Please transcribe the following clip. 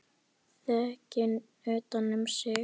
Þrekinn utan um sig.